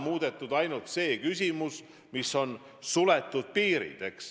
Muudetud on ainult see, et teatud piirid on suletud.